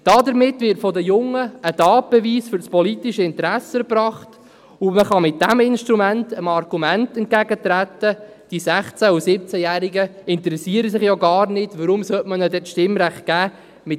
Damit wird von den Jungen ein Tatbeweis für das politische Interesse erbracht, und man kann mit diesem Instrument dem Argument entgegentreten, die 16- und 17-Jährigen interessierten sich ja gar nicht, weshalb man ihnen denn das Stimmrecht nicht geben solle.